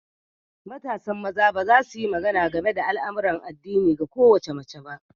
Matasan maza ba za su yi magana game da al'amuran addinin ga kowace mace ba.